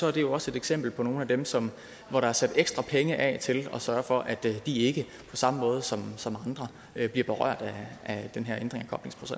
er det jo også et eksempel på nogle af dem som der er sat ekstra penge af til at sørge for at de ikke på samme måde som som andre bliver berørt af den her ændring